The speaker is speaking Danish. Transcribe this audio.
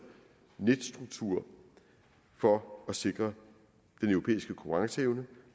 netstruktur for at sikre den europæiske konkurrenceevne